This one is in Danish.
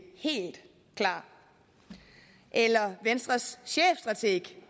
helt klar eller venstres chefstrateg